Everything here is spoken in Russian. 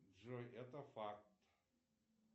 джой это факт